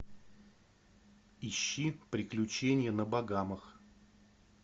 ищи приключения на багамах